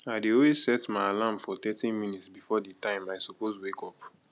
i dey always set my alarm for thirty minutes before di time i suppose wake up